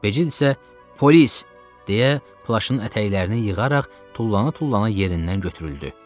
Becid isə "Polis!" deyə plaşın ətəklərini yığaraq tullana-tullana yerindən götürüldü.